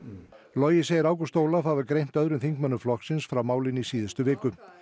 logi segir Ágúst Ólaf hafa greint öðrum þingmönnum flokksins frá málinu í síðustu viku